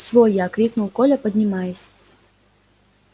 свой я крикнул коля поднимаясь